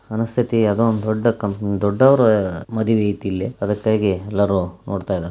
ಮನಸ್ಥಿತಿ ಇವುದು ಒಂದು ದೂಡ್ಡ ಕಪಾನಿ ದೂಡ್ಡರ ಮದುವೆ ಇದೆ ಇಲ್ಲಿ ಅದಕಾಗಿ ಎಲ್ಲರೂ ನೋಡತ ಇದಾರ .